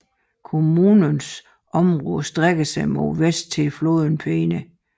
Kommunens område strækker sig mod vest til floden Peene